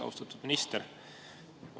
Austatud minister!